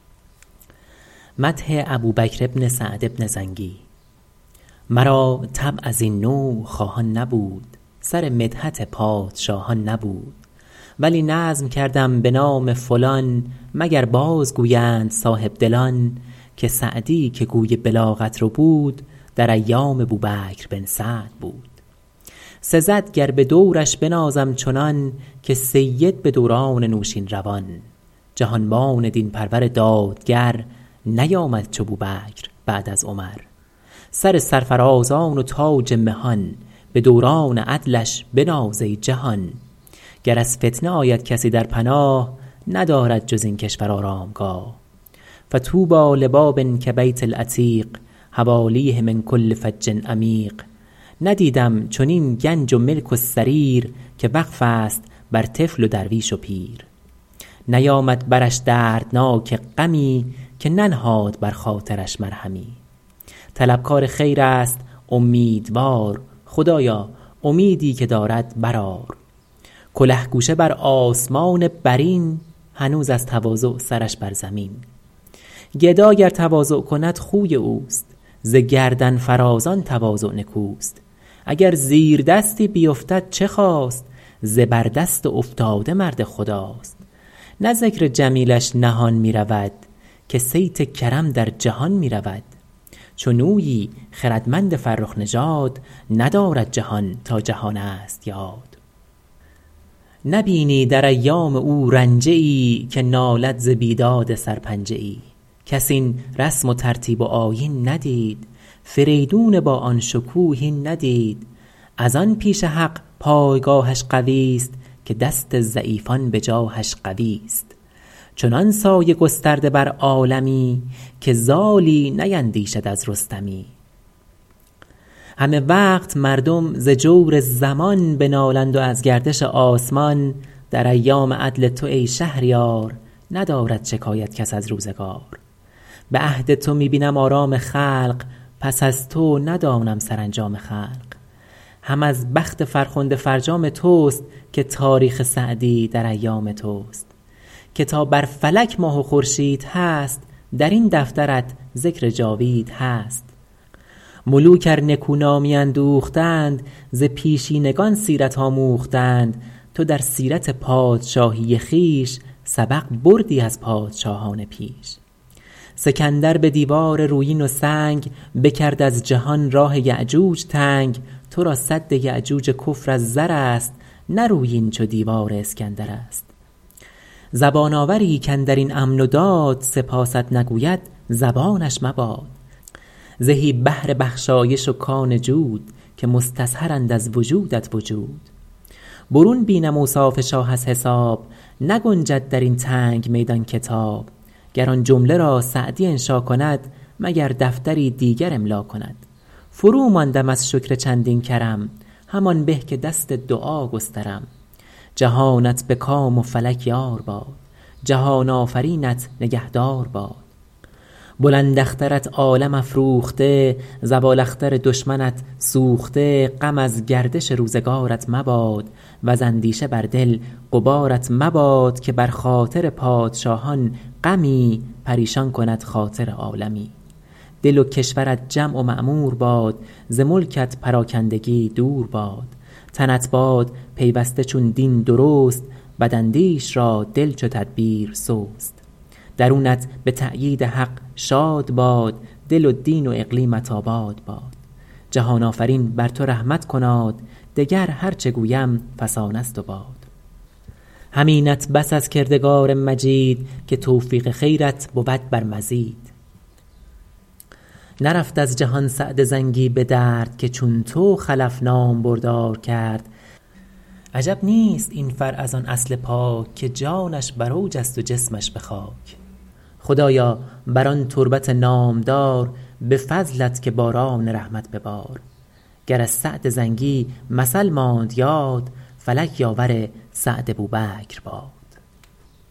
مرا طبع از این نوع خواهان نبود سر مدحت پادشاهان نبود ولی نظم کردم به نام فلان مگر باز گویند صاحبدلان که سعدی که گوی بلاغت ربود در ایام بوبکر بن سعد بود سزد گر به دورش بنازم چنان که سید به دوران نوشیروان جهانبان دین پرور دادگر نیامد چو بوبکر بعد از عمر سر سرفرازان و تاج مهان به دوران عدلش بناز ای جهان گر از فتنه آید کسی در پناه ندارد جز این کشور آرامگاه فطوبی لباب کبیت العتیق حوالیه من کل فج عمیق ندیدم چنین گنج و ملک و سریر که وقف است بر طفل و درویش و پیر نیامد برش دردناک غمی که ننهاد بر خاطرش مرهمی طلبکار خیر است امیدوار خدایا امیدی که دارد برآر کله گوشه بر آسمان برین هنوز از تواضع سرش بر زمین گدا گر تواضع کند خوی اوست ز گردن فرازان تواضع نکوست اگر زیردستی بیفتد چه خاست زبردست افتاده مرد خداست نه ذکر جمیلش نهان می رود که صیت کرم در جهان می رود چنویی خردمند فرخ نژاد ندارد جهان تا جهان است یاد نبینی در ایام او رنجه ای که نالد ز بیداد سرپنجه ای کس این رسم و ترتیب و آیین ندید فریدون با آن شکوه این ندید از آن پیش حق پایگاهش قوی است که دست ضعیفان به جاهش قوی است چنان سایه گسترده بر عالمی که زالی نیندیشد از رستمی همه وقت مردم ز جور زمان بنالند و از گردش آسمان در ایام عدل تو ای شهریار ندارد شکایت کس از روزگار به عهد تو می بینم آرام خلق پس از تو ندانم سرانجام خلق هم از بخت فرخنده فرجام توست که تاریخ سعدی در ایام توست که تا بر فلک ماه و خورشید هست در این دفترت ذکر جاوید هست ملوک ار نکو نامی اندوختند ز پیشینگان سیرت آموختند تو در سیرت پادشاهی خویش سبق بردی از پادشاهان پیش سکندر به دیوار رویین و سنگ بکرد از جهان راه یأجوج تنگ تو را سد یأجوج کفر از زر است نه رویین چو دیوار اسکندر است زبان آوری کاندر این امن و داد سپاست نگوید زبانش مباد زهی بحر بخشایش و کان جود که مستظهرند از وجودت وجود برون بینم اوصاف شاه از حساب نگنجد در این تنگ میدان کتاب گر آن جمله را سعدی انشا کند مگر دفتری دیگر املا کند فروماندم از شکر چندین کرم همان به که دست دعا گسترم جهانت به کام و فلک یار باد جهان آفرینت نگهدار باد بلند اخترت عالم افروخته زوال اختر دشمنت سوخته غم از گردش روزگارت مباد وز اندیشه بر دل غبارت مباد که بر خاطر پادشاهان غمی پریشان کند خاطر عالمی دل و کشورت جمع و معمور باد ز ملکت پراکندگی دور باد تنت باد پیوسته چون دین درست بداندیش را دل چو تدبیر سست درونت به تأیید حق شاد باد دل و دین و اقلیمت آباد باد جهان آفرین بر تو رحمت کناد دگر هرچه گویم فسانه ست و باد همینت بس از کردگار مجید که توفیق خیرت بود بر مزید نرفت از جهان سعد زنگی به درد که چون تو خلف نامبردار کرد عجب نیست این فرع از آن اصل پاک که جانش بر اوج است و جسمش به خاک خدایا بر آن تربت نامدار به فضلت که باران رحمت ببار گر از سعد زنگی مثل ماند یاد فلک یاور سعد بوبکر باد